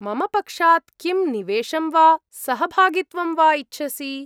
मम पक्षात् किं निवेशं वा सहभागित्वं वा इच्छसि?